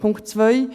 Punkt 2